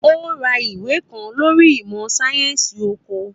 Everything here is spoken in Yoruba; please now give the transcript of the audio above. Ó ra ìwé kan lórí ìmọ̀ sáyẹ́sì oko.